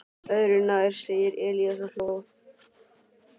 Öðru nær, sagði Elías og hló.